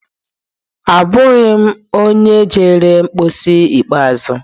Abụghị m onye jere mposi ikpeazụ.